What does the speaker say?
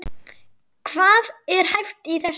Hvað er hæft í þessu?